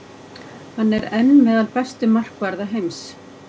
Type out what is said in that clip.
Hann er enn meðal bestu markvarða heims.